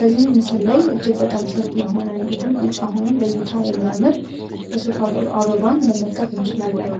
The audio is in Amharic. በዚህን ምስል ላይ እጅግ በጣም ሰፊ የሆነ እንዲሁም ቢጫ ሆኑ ለእይታ የሚያምር የሱፋ አበባን መመልከት እንችላለን።